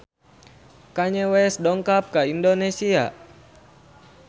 Kanye West dongkap ka Indonesia